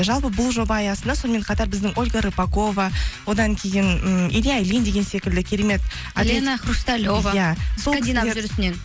жалпы бұл жоба аясында сонымен қатар біздің ольга рыпакова одан кейін ммм илья ильин деген секілді керемет лена хрусталева иә